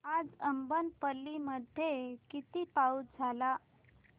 आज अब्बनपल्ली मध्ये किती पाऊस झाला